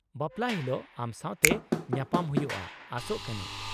-ᱵᱟᱯᱞᱟ ᱦᱤᱞᱳᱜ ᱟᱢ ᱥᱟᱶᱛᱮ ᱧᱟᱯᱟᱢ ᱦᱩᱭᱩᱜᱼᱟ ᱟᱥᱚᱜ ᱠᱟᱹᱱᱟᱹᱧ !